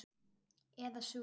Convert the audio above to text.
Eða sú.